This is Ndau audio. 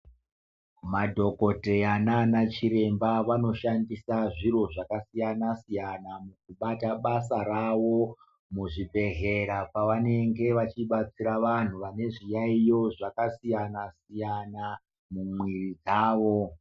Madhokodheya nanachiremba vanoshandisa zviro zvakasiyana-siyana mukubata basa ravo muzvibhedhlera pavanenge veibetsera vantu vanezviyayo zvakasiyana siyana mumwiri dzavo.